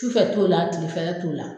Sufɛ t'o la tile fɛ la t'o la.